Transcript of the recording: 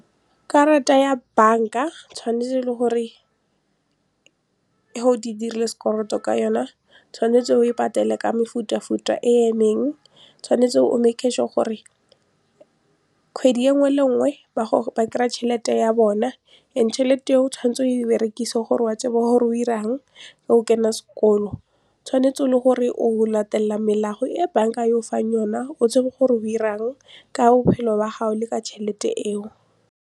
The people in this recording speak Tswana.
Karata ya bank-a tshwanetse le gore dirile sekoloto ka yona tshwanetse o e patele ka mefutafuta e emeng tshwanetse o gore kgwedi e nngwe le nngwe ba kry-a tšhelete ya bona and tšhelete e o tshwanetse o e berekise gore wa tseba hore o 'irang o kene sekolo tshwanetse le gore o latelela melao e bank-a e go fang yona o tsebe gore o 'irang ka bophelo ba gago le ka tšhelete eo.